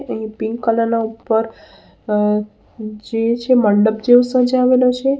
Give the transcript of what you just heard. અહીં pink colour ના ઉપર અ જે છે મંડપ જેવું સજાવેલો છે.